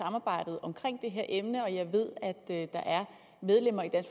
samarbejdet om det her emne jeg ved at der er medlemmer af